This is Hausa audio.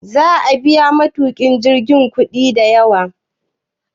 Za'a biya matukin jirgin kudi da yawa?